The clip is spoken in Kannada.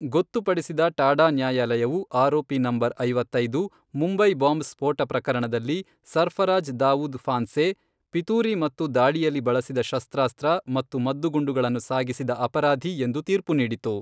ಗೊತ್ತುಪಡಿಸಿದ ಟಾಡಾ ನ್ಯಾಯಾಲಯವು ಆರೋಪಿ ನಂಬರ್ ಐವತ್ತೈದು, ಮುಂಬೈ ಬಾಂಬ್ ಸ್ಫೋಟ ಪ್ರಕರಣದಲ್ಲಿ ಸರ್ಫರಾಜ್ ದಾವೂದ್ ಫಾನ್ಸೆ, ಪಿತೂರಿ ಮತ್ತು ದಾಳಿಯಲ್ಲಿ ಬಳಸಿದ ಶಸ್ತ್ರಾಸ್ತ್ರ ಮತ್ತು ಮದ್ದುಗುಂಡುಗಳನ್ನು ಸಾಗಿಸಿದ ಅಪರಾಧಿ ಎಂದು ತೀರ್ಪು ನೀಡಿತು.